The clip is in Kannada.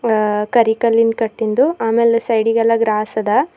ಆ ಕರಿ ಕಲ್ಲಿನ್ ಕಟ್ಟಿಂದು ಆಮೇಲೆ ಸೈಡಿಗೆಲ್ಲಾ ಗ್ರಾಸದ.